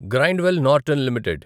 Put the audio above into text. Grindwell Norton limited